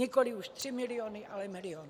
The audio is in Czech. Nikoli už tři miliony, ale milion.